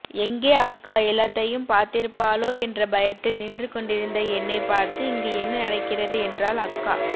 எங்கே அக்கா ஏள்ளதையும் பார்த்திருப்பாளோ என்ற பயத்தில் நின்று கொண்டிருந்த என்னை பார்த்து இங்கு என்ன நடக்கிறது என்றால் அக்கா